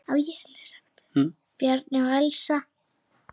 Bjarni og Elsa.